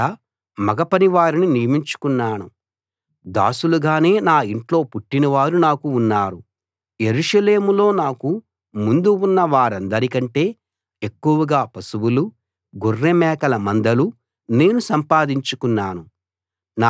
ఆడ మగ పనివారిని నియమించుకున్నాను దాసులుగానే నా ఇంట్లో పుట్టినవారు నాకు ఉన్నారు యెరూషలేములో నాకు ముందు ఉన్న వారందరికంటే ఎక్కువగా పశువులు గొర్రె మేకల మందలు నేను సంపాదించుకున్నాను